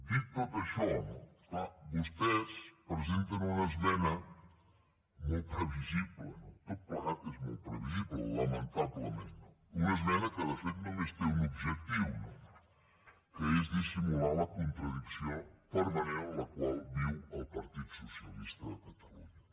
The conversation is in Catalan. dit tot això clar vostès presenten una esmena molt previsible no tot plegat és molt previsible lamentablement una esmena que de fet només té un objectiu no que és dissimular la contradicció permanent en la qual viu el partit socialista de catalunya